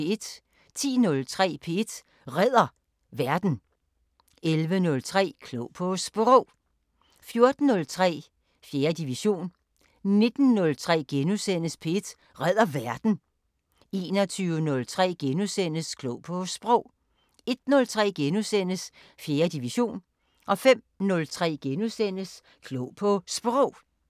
10:03: P1 Redder Verden 11:03: Klog på Sprog 14:03: 4. division 19:03: P1 Redder Verden * 21:03: Klog på Sprog * 01:03: 4. division * 05:03: Klog på Sprog *